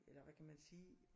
Eller hvad kan man sige